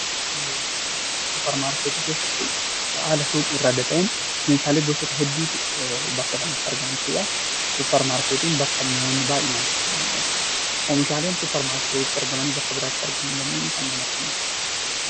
Supermarketii keesstti haala suuqii irraa adda ta'een meeshaalee gosoota hedduutu bakka kanatti argama jechuudha. Supermarketiin bakka mi'oonni baayyeen heddumminaan itti argaman jechuudha. Oomishaaleen supermarketiitti argamanii bakka biraatti argamuu hin dandeenye kan akkamiiti?